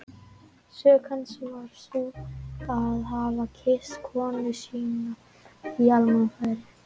Sök hans var sú að hafa kysst konuna sína á almannafæri!